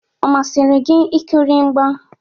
Ọ masịrị gị ikiri mgba?